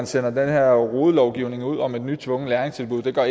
sender den her rodelovgivning ud om et nyt tvungent læringstilbud gør